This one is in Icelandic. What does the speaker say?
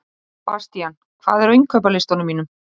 Bastían, hvað er á innkaupalistanum mínum?